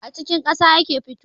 A cikin ƙasa yake fitowa